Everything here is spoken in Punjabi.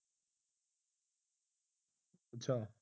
ਅੱਛਾ